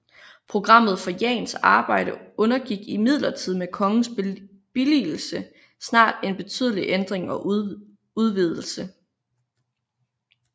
Programmet for Jahns arbejde undergik imidlertid med kongens billigelse snart en betydelig ændring og udvidelse